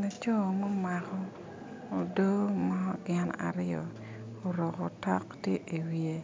Laco ma omako odo mo gin aryo oruko otok tye iwiye